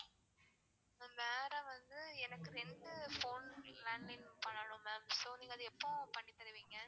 ma'am வேற வந்து எனக்கு ரெண்டு phone landline பண்ணனும் ma'am so அத நீங்க எப்போ பண்ணி தருவீங்க?